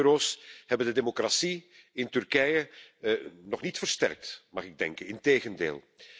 Onze euro's hebben de democratie in Turkije nog niet versterkt, mag ik denken, integendeel.